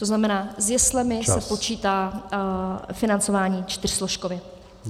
To znamená, s jeslemi se počítá - financování čtyřsložkově.